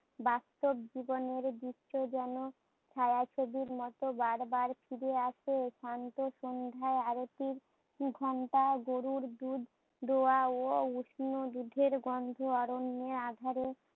বাস্তব জীবনের গুচ্ছ যেন ছায়াছবির মতো বার বার ফিরে আসে। শান্ত সন্ধার আরতির ঘণ্টা গরুর দুধ দোয়া ও উষ্ণ দুধের গন্ধে আরণ্য আঁধারে